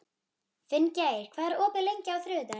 Finngeir, hvað er opið lengi á þriðjudaginn?